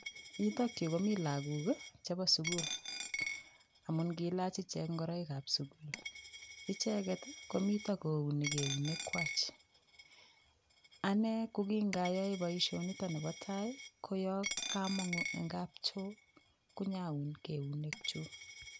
Yutokyu komi lakok chebo sukul amun kiilach ichek ngoroikab sukul icheget komito kouni keunek kwach ane ko kingayoe boishonito kobo tai ko yo kamong'u eng' kapchoo konyaun keunek chu